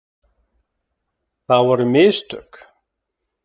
Það voru mistök.